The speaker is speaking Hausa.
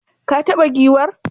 Ka taba giwar?